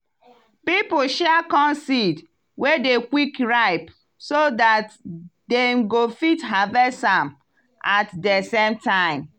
people share corn seed wey dey quick ripe so dat dem go fit harvest am at de same time.